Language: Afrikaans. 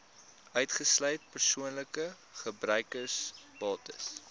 uitgesluit persoonlike gebruiksbates